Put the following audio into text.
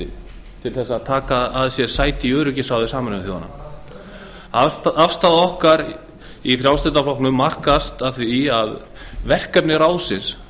framboðsbrölti til að taka að sér sæti í öryggisráði sameinuðu þjóðanna afstaða okkar í frjálslynda flokknum markast af því að verkefni ráðsins